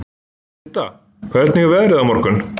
Didda, hvernig er veðrið á morgun?